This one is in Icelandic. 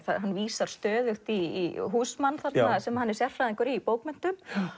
hann vísar stöðugt í Huysman sem hann er sérfræðingur í í bókmenntum